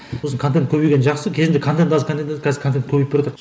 сосын көбейген жақсы кезінде контент аз контент аз қазір контент көбейіп баратыр